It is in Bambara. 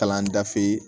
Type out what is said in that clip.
Kalan dafe